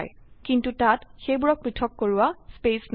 কিন্তু তাত সেইবোৰক পৃথক কৰোৱা স্থান নাই